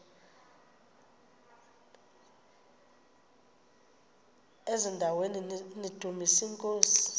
eziaweni nizidumis iinkosi